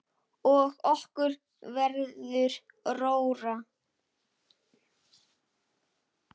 Og okkur verður rórra.